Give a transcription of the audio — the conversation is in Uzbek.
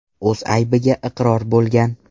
o‘z aybiga iqror bo‘lgan.